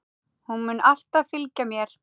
Hún mun alltaf fylgja mér.